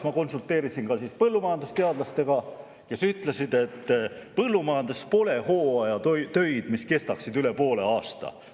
Ma konsulteerisin põllumajandusteadlastega, kes ütlesid, et põllumajanduses pole hooajatöid, mis kestaksid üle poole aasta.